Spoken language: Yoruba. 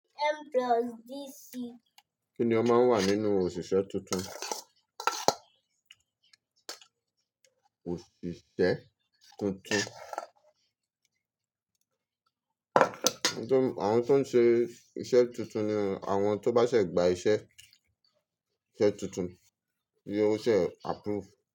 Kíni ó máa ń wà nínú òṣìṣẹ́ tuntun? Àwọn tó ń ṣe iṣẹ́ tuntun ni àwọn tó bá ṣẹ̀ gba iṣẹ́, se tuntun, yóò ṣẹ́ approve.